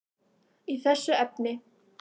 í þessu efni.